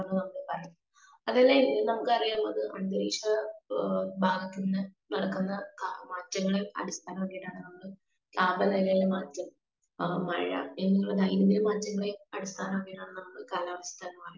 speaker 2